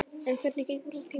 En hvernig gengur þá tíminn?